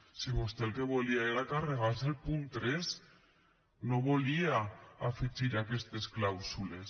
si vostè el que volia era carregar se el punt tres no volia afegir hi aquestes clàusules